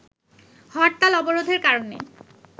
হরতাল-অবরোধের কারণে